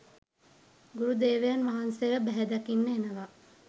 ගුරුදේවයන් වහන්සේව බැහැදකින්න එනවා